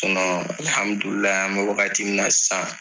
an bɛ wagati min na sisan.